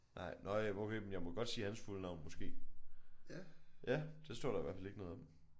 Nej nåh ja okay men jeg må godt sige hans fulde navn måske. Ja det står der i hvert fald ikke noget om